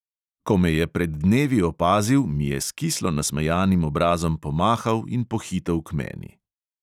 Ko me je pred dnevi opazil, mi je s kislo nasmejanim obrazom pomahal in pohitel k meni.